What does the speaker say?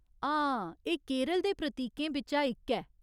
हां, एह् केरल दे प्रतीकें बिच्चा इक ऐ।